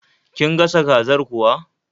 Kin gasa kazar kuwa?